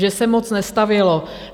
Že se moc nestavělo.